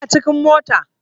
Ina cikin mota